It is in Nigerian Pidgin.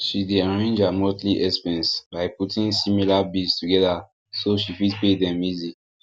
she dey arrange her monthly expenses by putting similar bills together so she fit pay them easy